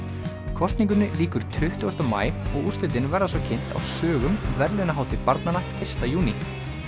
kosningunni lýkur tuttugasta maí og úrslitin verða svo kynnt á sögum verðlaunahátíð barnanna fyrsta júní